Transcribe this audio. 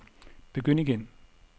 begynd igen